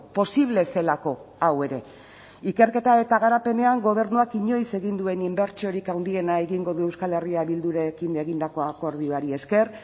posible zelako hau ere ikerketa eta garapenean gobernuak inoiz egin duen inbertsiorik handiena egingo du euskal herria bildurekin egindako akordioari esker